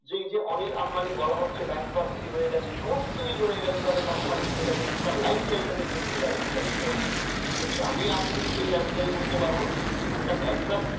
এই যে অনিল আম্বানি বলা হয়ে হচ্ছে bank cropsey হয়ে গেছে সমস্ত কিছু হয়ে গেছে company উঠে গেছে তাদের life style দেখবেন স্টাইল আমি আপনি কি loves life style আমি আপনি সেই life style বুঝতে পারবো না একটা bank cropsey